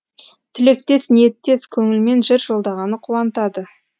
тілектес ниеттес көңілмен жыр жолдағаны қуантады